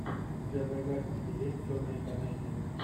у тебя в загашнике есть черные комедии